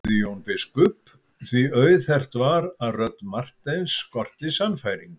spurði Jón biskup því auðheyrt var að rödd Marteins skorti sannfæringu.